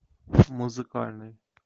музыкальный